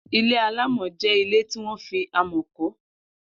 Ilé àlámọ̀ jẹ ilé tiwọn fi àmọ̀ kọ